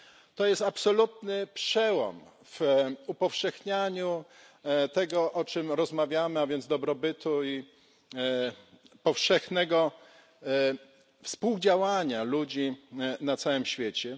To jest absolutny przełom w upowszechnianiu tego, o czym rozmawiamy, a więc dobrobytu i powszechnego współdziałania ludzi na całym świecie.